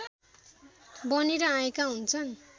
बनेर आएका हुन्छन्